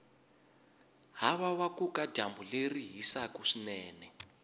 havawakuka dyambu leri hisaku swinene